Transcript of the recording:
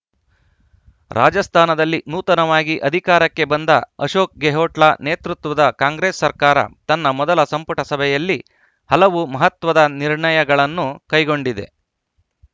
ರಾಜಸ್ಥಾನದಲ್ಲಿ ನೂತನವಾಗಿ ಅಧಿಕಾರಕ್ಕೆ ಬಂದ ಅಶೋಕ್‌ ಗೆಹ್ಲೋಟ್‌ ನೇತೃತ್ವದ ಕಾಂಗ್ರೆಸ್‌ ಸರ್ಕಾರ ತನ್ನ ಮೊದಲ ಸಂಪುಟ ಸಭೆಯಲ್ಲಿ ಹಲವು ಮಹತ್ವದ ನಿರ್ಣಯಗಳನ್ನು ಕೈಗೊಂಡಿದೆ